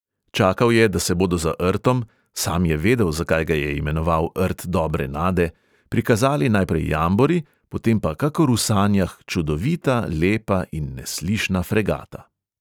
Čakal je, da se bodo za rtom – sam je vedel, zakaj ga je imenoval rt dobre nade – prikazali najprej jambori, potem pa kakor v sanjah čudovita, lepa in neslišna fregata.